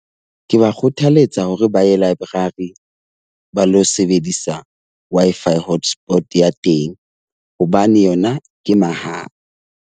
Ke ba kgothaletsa hore ba ye laeborari ba lo sebedisa Wi-Fi hotspot ya teng hobane yona ke mahala.